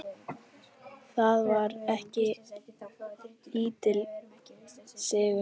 Það var ekki lítill sigur!